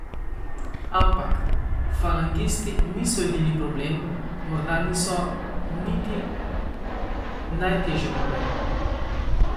Ampak falangisti niso edini problem, morda niso niti najtežji problem.